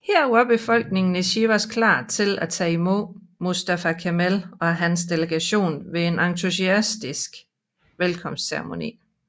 Her var befolkningen i Sivas klar til at tage imod Mustafa Kemal og hans delegation ved en entusiastisk velkomstceremoni